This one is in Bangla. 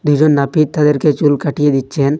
দু'জন নাপিত তাদেরকে চুল কাটিয়ে দিচ্ছেন।